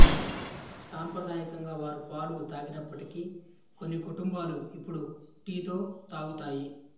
సాంప్రదాయకంగా వారు పాలు తాగనప్పటికీ కొన్ని కుటుంబాలు ఇప్పుడు టీతో తాగుతాయి